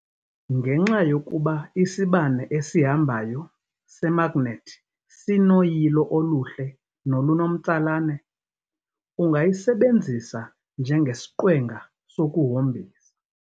Ngenxa yokuba isibane esihambayo semagnethi sinoyilo oluhle nolunomtsalane, ungayisebenzisa njengesiqwenga sokuhombisa.